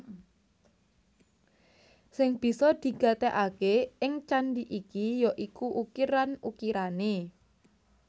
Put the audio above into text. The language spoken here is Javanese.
Sing bisa digatekaké ing candhi iki ya iku ukiran ukirané